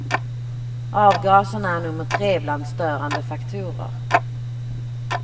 Avgaserna är nummer tre bland störande faktorer.